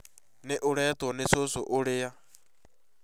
Nĩ ũretwo nĩ cũcũ ũria